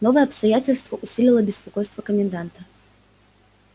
новое обстоятельство усилило беспокойство коменданта